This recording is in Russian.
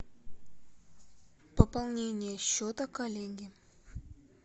пополнение счета коллеге